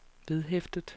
vedhæftet